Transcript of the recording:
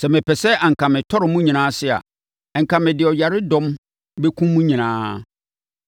Sɛ mepɛ a anka matɔre mo nyinaa ase, anka mede ɔyaredɔm bɛkum mo nyinaa.